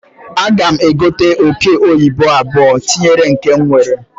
Aga m egote oke oyibo abuọ tinyere nke n nwere.